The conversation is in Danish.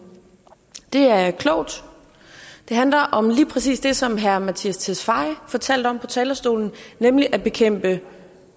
det er klogt det handler om lige præcis det som herre mattias tesfaye fortalte om på talerstolen nemlig at bekæmpe